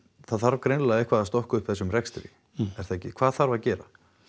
það þarf greinilega eitthvað að stokka upp þessum rekstri er það ekki hvað þarf að gera